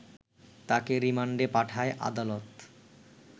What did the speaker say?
তাকে রিমান্ডে পাঠায় আদালত